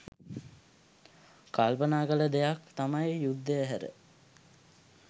කල්පනා කළ දෙයක් තමයි යුද්ධය හැර